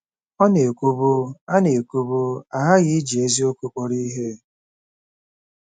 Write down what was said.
Ọ na-ekwubu, “A na-ekwubu, “A ghaghị iji eziokwu kpọrọ ihe.